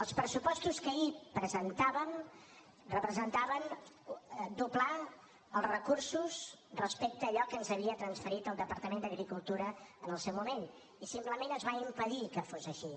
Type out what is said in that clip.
els pressupostos que ahir presentàvem representaven doblar els recursos respecte a allò que ens havia transferit el departament d’agricultura en el seu moment i simplement es va impedir que fos així